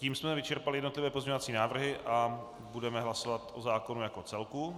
Tím jsme vyčerpali jednotlivé pozměňovací návrhy a budeme hlasovat o zákonu jako celku.